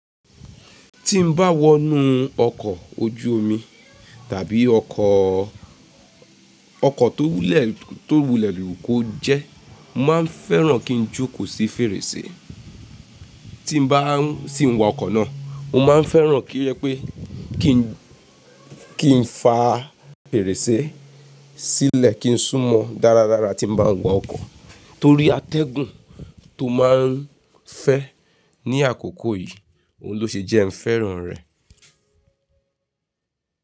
Tí n bá wọnú ọkọ̀ ojú omi tàbí ọkọ̀, ọkọ̀ tó wúlẹ̀ tó wúlẹ̀ lú kọ jẹ́, mo máa ń fẹ́ràn kí n jókòó sí fèrèsé. Tí n bá sì n wa ọkọ̀ náà, mo ma ń fẹ́ràn kí rẹ pé kí n kí n fa fèrèsé sílẹ̀ kí n súnmọ́ dáradára tí n bá ń wọ ọkọ̀ torí atẹ́gùn tó ma ń fẹ́ ní àkókò yìí, òun ló ṣe jẹ ẹ́ ń fẹ́ràn rẹ̀.